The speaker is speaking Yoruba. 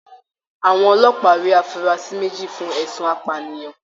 Àwọn ọlọ́pàá rí afurasi méjì fún ẹ̀sùn apànìyàn.